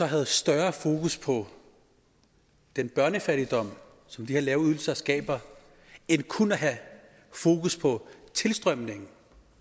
havde større fokus på den børnefattigdom som de her lave ydelser skaber end kun at have fokus på tilstrømningen